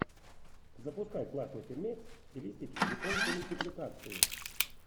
запускай классный фильмец в стилистике японской мультипликации